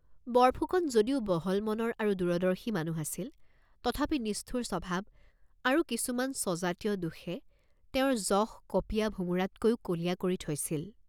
বৰফুকন যদিও বহল মনৰ আৰু দুৰদৰ্শী মানুহ আছিল, তথাপি নিষ্ঠুৰ স্বভাৱ আৰু কিছুমান স্বজাতিয় দোষে তেওঁৰ যশ কপীয়া ভোমোৰাতকৈও কলীয়া কৰি থৈছিল।